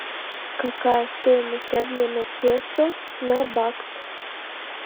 какая стоимость обмена песо на бакс